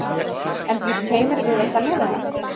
En býst Heimir við að semja við hann?